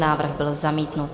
Návrh byl zamítnut.